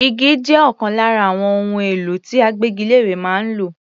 Igi jẹ́ ọ̀kan lára àwọn ohun èlò tí agbégilére máa ń lò.